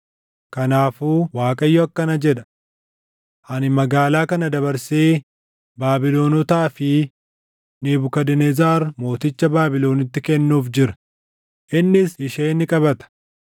Kanaafuu Waaqayyo akkana jedha: Ani magaalaa kana dabarsee Baabilonotaa fi Nebukadnezar mooticha Baabilonitti kennuuf jira; innis ishee ni qabata.